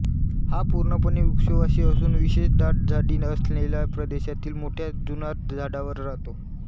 हा पूर्णपणे वृक्षवासी असून विशेष दाट झाडी नसलेल्या प्रदेशातील मोठ्या जुनाट झाडांवर राहतो